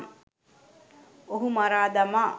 ඔහු මරා දමා